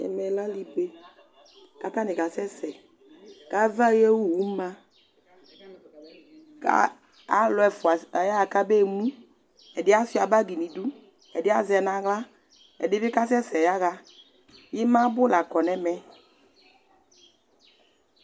Ɛmɛ lɛ alibe ku ata ni asɛ sɛ, ku ava ayu owu ma, ka alu ɛfʋa ayaɣa kabewu, ɛdi asʋa bagi nu idu, ɛdi azɛ na aɣla, ɛdi bi kasɛsɛ yaɣa, imabu la kɔ nu ɛmɛ